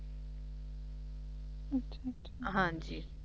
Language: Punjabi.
ਹਾਂਜੀ